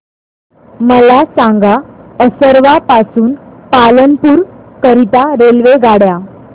मला सांगा असरवा पासून पालनपुर करीता रेल्वेगाड्या